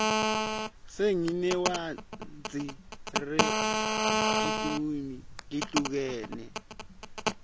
singtinewadzi regetiluimi letihlukene